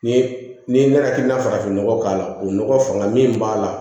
Ni n'i mɛna hakilina farafinnɔgɔ k'a la o nɔgɔ fanga min b'a la